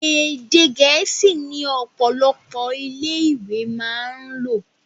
Èdè gẹ̀ẹ́sì ni ọ̀pọ̀lọpọ̀ ilé ìwé máa ń lò